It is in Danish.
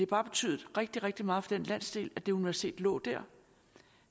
bare betydet rigtig rigtig meget den landsdel at det universitet lå der